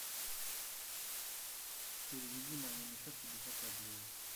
переведи маме на счет пятьдесят рублей